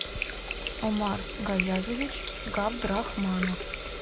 омар гаязович габдрахманов